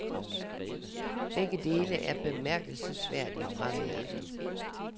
Begge dele er bemærkelsesværdigt fraværende.